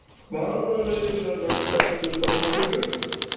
Hvaða lið verða sterkust á mótinu?